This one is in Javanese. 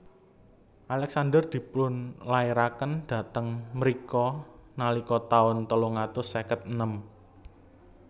Alexander dipun lairaken dhateng mrika nalika taun telung atus seket enem